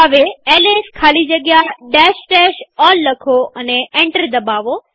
હવે એલએસ ખાલી જગ્યા all લખો અને એન્ટર દબાવો